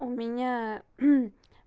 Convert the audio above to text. у меня